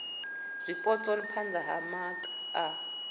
zwipotso phana ha maga a